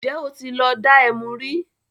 ǹjẹ́ ó tí lọ dá ẹmu rí?